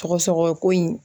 Sɔgɔsɔgɔ ko in